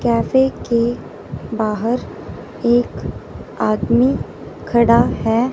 Cafe के बाहर एक आदमी खड़ा है।